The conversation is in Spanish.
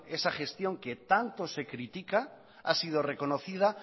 esa gestión que tanto se critica ha sido reconocida